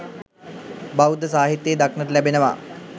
බෞද්ධ සාහිත්‍යයේ දක්නට ලැබෙනවා.